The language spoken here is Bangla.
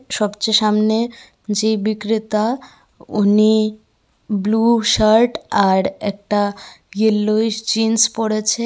সবচেয়ে সামনে যে বিক্রেতা উনি ব্লু শার্ট আর একটা ইয়োলোইস জিন্স পরেছে।